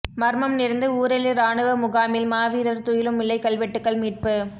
மர்மம் நிறைந்த ஊரெழு இராணுவ முகாமில் மாவீரர் துயிலுமில்ல கல்வெட்டுக்கள் மீட்பு